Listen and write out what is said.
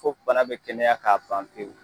Ko bana be kɛnɛya k'a ban pewu